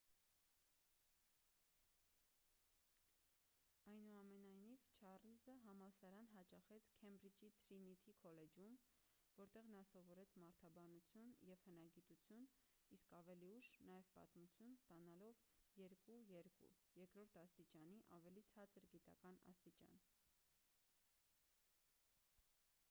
այնուամենայնիվ չառլզը համալսարան հաճախեց քեմբրիջի թրինիթի քոլեջում որտեղ նա սովորեց մարդաբանություն և հնագիտություն իսկ ավելի ուշ՝ նաև պատմություն` ստանալով 2:2 երկրորդ աստիճանի ավելի ցածր գիտական աստիճան: